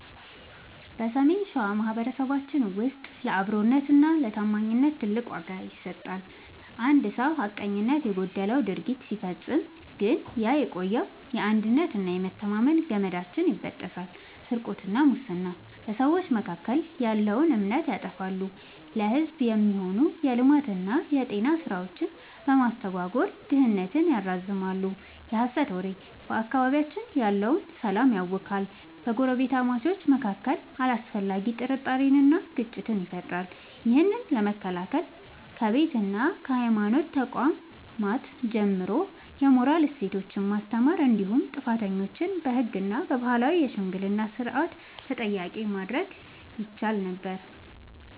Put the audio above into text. በሰሜን ሸዋ ማኅበረሰባችን ውስጥ ለአብሮነትና ለታማኝነት ትልቅ ዋጋ ይሰጣል። አንድ ሰው ሐቀኝነት የጎደለው ድርጊት ሲፈጽም ግን ያ የቆየው የአንድነትና የመተማመን ገመዳችን ይበጠሳል። ስርቆትና ሙስና፦ በሰዎች መካከል ያለውን እምነት ያጠፋሉ፤ ለሕዝብ የሚሆኑ የልማትና የጤና ሥራዎችን በማስተጓጎል ድህነትን ያራዝማሉ። የሐሰት ወሬ፦ በአካባቢያችን ያለውን ሰላም ያውካል፤ በጎረቤታማቾች መካከል አላስፈላጊ ጥርጣሬንና ግጭትን ይፈጥራል። ይህን ለመከላከል ከቤትና ከሃይማኖት ተቋማት ጀምሮ የሞራል እሴቶችን ማስተማር እንዲሁም ጥፋተኞችን በሕግና በባህላዊ የሽምግልና ሥርዓት ተጠያቂ ማድረግ ይቻል ነበር።